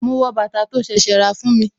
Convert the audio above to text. Ma wọ bàtà tó ṣẹ̀ṣẹ̀ rà fún mi